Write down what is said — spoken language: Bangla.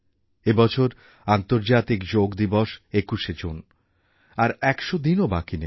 এই বছর আন্তর্জাতিক যোগ দিবস ২১শে জুন আর ১০০ দিনও বাকি নেই